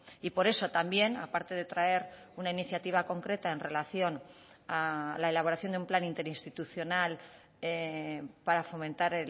y por eso también a parte de traer una iniciativa concreta en relación a la elaboración de un plan interinstitucional para fomentar